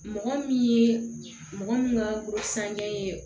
Mɔgɔ min ye mɔgɔ min ka ye